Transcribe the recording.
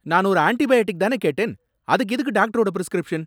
நான் ஒரு ஆன்டிபயாட்டிக் தானே கேட்டேன், அதுக்கு எதுக்கு டாக்டரோட பிரிஸ்கிரிப்ஷன்?